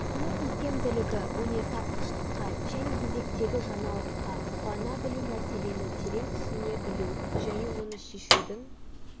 оның икемділігі өнертапқыштыққа және еңбектегі жаңалыққа қуана білу мәселені терең түсіне білу және оны шешудің